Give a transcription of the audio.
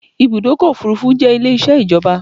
Ibùdọ́kọ̀ òfurufú jẹ́ Ilé isẹ́ ìjọba